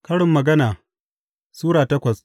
Karin Magana Sura takwas